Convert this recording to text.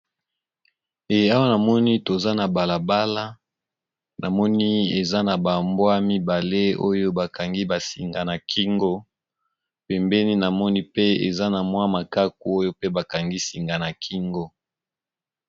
Awa na moni toza na balabala, ba nyama, na ba mbwa bakangi bango basinga na kingo.